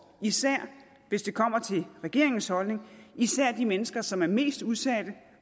især hvis det kommer til regeringens holdning de mennesker som er mest udsatte